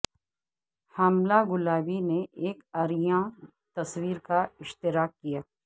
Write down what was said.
حاملہ گلابی نے ایک عریاں تصویر کا اشتراک کیا